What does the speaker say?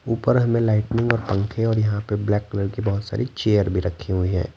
ऊपर हमें लाइटनिंग और पंखे और यहां पे ब्लैक कलर की बहुत सारी चेयर भी रखी हुई हैं।